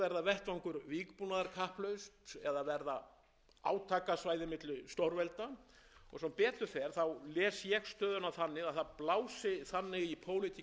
vettvangur vígbúnaðarkapphlaups eða verða átakasvæði milli stórvelda og sem betur fer les ég stöðuna þannig að það blási þannig í pólitík okkar heimshluta að það sé tækifæri til þess núna að